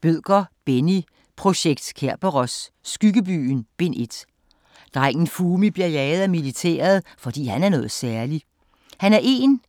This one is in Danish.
Bødker, Benni: Projekt Kerberos: Skyggebyen: Bind 1 Drengen Fumi bliver jaget af militæret, fordi han er noget særligt. Han er en